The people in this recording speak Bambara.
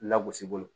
Lagosi bolo